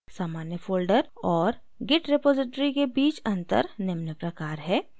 सामान्य folder और git repository के बीच अंतर निम्न प्रकार है: